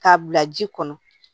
K'a bila ji kɔnɔ